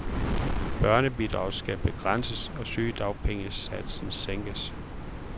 Børnebidraget skal begrænses og sygedagpengesatsen sænkes.